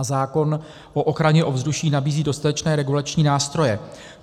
A zákon o ochraně ovzduší nabízí dostatečné regulační nástroje.